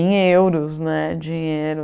em euros, né, dinheiro.